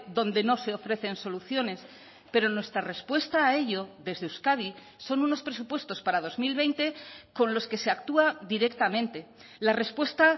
donde no se ofrecen soluciones pero nuestra respuesta a ello desde euskadi son unos presupuestos para dos mil veinte con los que se actúa directamente la respuesta